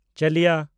ᱪᱟᱞᱤᱭᱟ